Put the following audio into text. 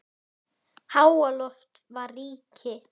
Þóra: Varst þú aftast?